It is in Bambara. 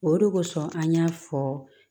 O de kosɔn an y'a fɔ